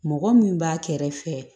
Mɔgɔ min b'a kɛrɛfɛ